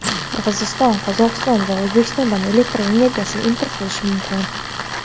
Qirg‘iziston Qozog‘iston va O‘zbekistondan elektr energiyasi import qilishi mumkin.